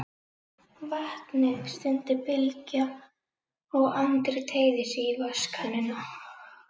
Vatnið, stundi Bylgja og Andri teygði sig í vatnskönnuna.